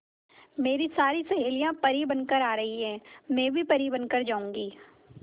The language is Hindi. मेरी सारी सहेलियां परी बनकर आ रही है मैं भी परी बन कर जाऊंगी